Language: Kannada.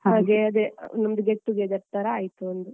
ಹಾಗೆ ಅದೆ, ಒಂದು get together ತರ ಆಯ್ತು ಒಂದು.